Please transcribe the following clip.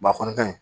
a kɔni ka ɲi